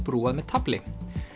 brúað með tafli